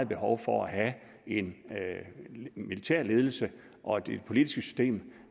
behov for at have en militær ledelse og et politisk system